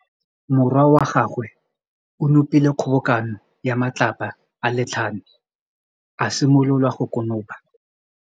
Morwa wa gagwe o nopile kgobokanô ya matlapa a le tlhano, a simolola go konopa.